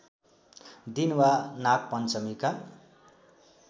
दिन वा नागपञ्चमीका